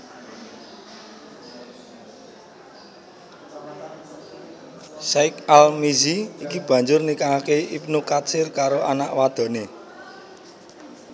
Syaikh al Mizzi iki banjur nikahake Ibnu Katsir karo anak wadoné